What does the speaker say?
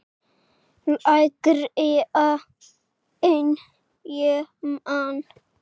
Lægra en ég man.